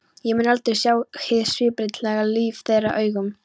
Ég mun aldrei sjá hið síbreytilega líf þeirra augum.